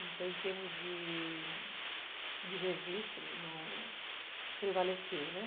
Então, em termos de de registro, prevaleceu, né